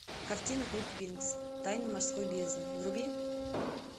картина клуб винкс тайна морской бездны вруби